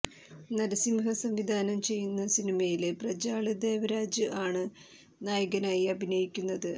നരസിംഹ സംവിധാനം ചെയ്യുന്ന സിനിമയില് പ്രജ്വാള് ദേവരാജ് ആണ് നായകനായി അഭിനയിക്കുന്നത്